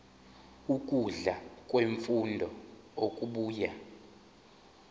ukudla kwemfuyo okubuya